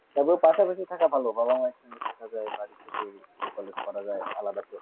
টা পর পাশাপাশি থাকা ভালো বাবা মা সঙ্গে থাকা যায় বাড়ি থেকে ই school college করা যায় আলাদা